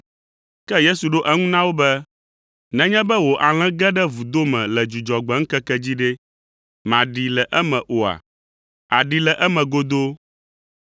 Ke Yesu ɖo eŋu na wo be, “Nenye be wò alẽ ge ɖe vudo me le Dzudzɔgbe ŋkeke dzi ɖe, màɖee le eme oa? Àɖee le eme godoo!